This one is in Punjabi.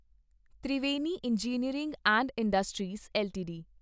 Triveni engineering and industries LTD